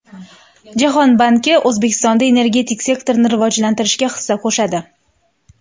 Jahon banki O‘zbekistonda energetik sektorni rivojlantirishga hissa qo‘shadi.